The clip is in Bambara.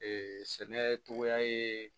sɛnɛ cogoya ye